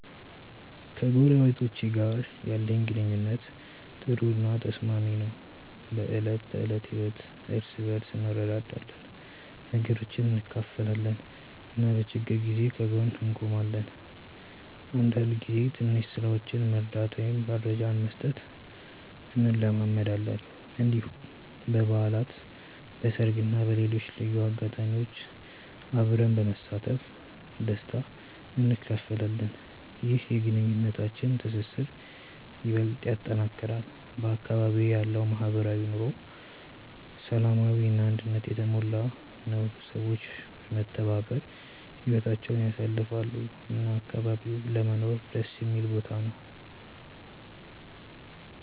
ከጎረቤቶቼ ጋር ያለኝ ግንኙነት ጥሩ እና ተስማሚ ነው። በዕለት ተዕለት ህይወት እርስ በርስ እንረዳዳለን፣ ነገሮችን እንካፈላለን እና በችግር ጊዜ ከጎን እንቆማለን። አንዳንድ ጊዜ ትንሽ ስራዎችን መርዳት ወይም መረጃ መስጠት እንለማመዳለን። እንዲሁም በበዓላት፣ በሰርግ እና በሌሎች ልዩ አጋጣሚዎች አብረን በመሳተፍ ደስታ እንካፈላለን። ይህ የግንኙነታችንን ትስስር ይበልጥ ያጠናክራል። በአካባቢዬ ያለው ማህበራዊ ኑሮ ሰላማዊ እና አንድነት የተሞላ ነው፤ ሰዎች በመተባበር ህይወታቸውን ያሳልፋሉ እና አካባቢው ለመኖር ደስ የሚል ቦታ ነው።